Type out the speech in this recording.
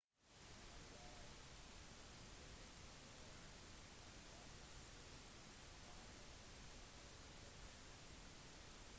abu ghraib-fengselet i irak er blitt satt i fyr under et opprør